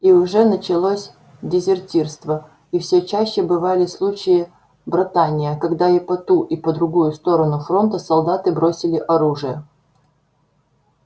и уже началось дезертирство и все чаще бывали случаи братания когда и по ту и по другую сторону фронта солдаты бросили оружие